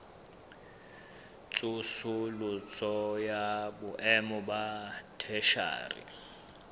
tsosoloso ya boemo ba theshiari